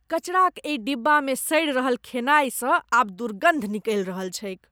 कचराक एहि डिब्बामे सड़ि रहल खेनाइसँ आब दुर्गन्ध निकलि रहल छैक।